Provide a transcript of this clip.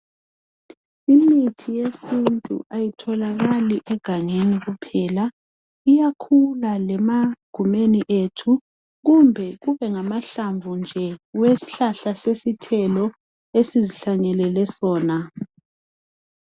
Imithi yesintu ayitholakali egangeni kuphela. Iyakhula lemagumeni ethu. Kumbe kube ngamahlamvu nje eshlahla sesithelo esizihlanyelele sona.